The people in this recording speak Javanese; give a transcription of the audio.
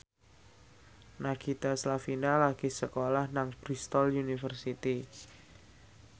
Nagita Slavina lagi sekolah nang Bristol university